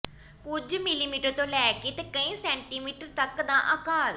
ਕੁਝ ਮਿਲੀਮੀਟਰ ਤੋਂ ਲੈ ਕੇ ਕਈ ਸੈਂਟੀਮੀਟਰ ਤਕ ਦਾ ਆਕਾਰ